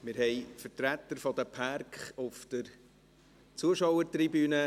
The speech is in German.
Wir haben Vertreter der Pärke auf der Zuschauertribüne.